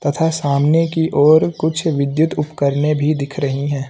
तथा सामने की और कुछ विद्युत उपकरने भी दिख रही हैं।